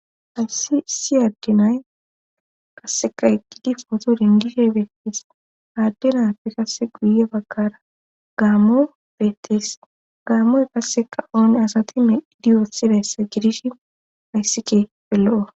hasi addenay kasseka eqqidi footo dingishe beettees aaddenaafe kasse guye baggara gaamo beettes gaammoy kasseka oone asati meidiyoosidayssa gidish hayssike pe lo7o